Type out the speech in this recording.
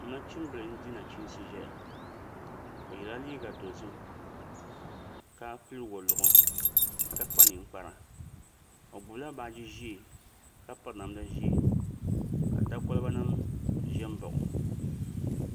Nachimbili n di nachiinsi ʒɛya o yɛla liiga dozim ka pili woliɣi ka kpa ninkpara o gbubila baaji ʒiɛ ka piri namda ʒiɛ ka da kolba nim ƶɛ n baɣa o